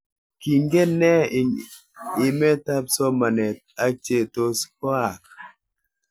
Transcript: Kingen ne ing imet ap somanet ak che tos koaak?